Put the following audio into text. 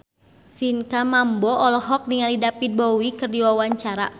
Pinkan Mambo olohok ningali David Bowie keur diwawancara